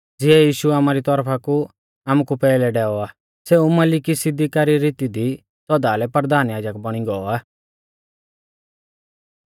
ज़िऐ यीशु आमारी तौरफा कु आमुकु पैहलै डैऔ आ सेऊ मलिकिसिदका री रीती दी सौदा लै परधान याजक बौणी गौ आ